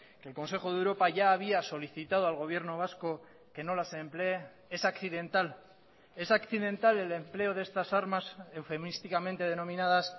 que el consejo de europa ya había solicitado al gobierno vasco que no las emplee es accidental es accidental el empleo de estas armas eufemísticamente denominadas